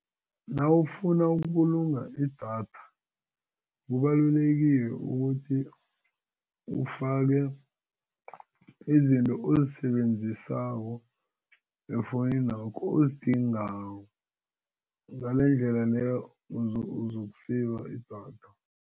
Nawufuna ukubulunga idatha kubalulekile ukuthi ufake izinto ozisebenzisako efowuninakho ozidingako ngalendlela leyo uzoku-save idatha.